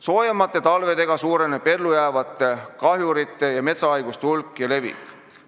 Soojemate talvedega suureneb ellu jäävate kahjurite ja metsahaiguste hulk ja levik.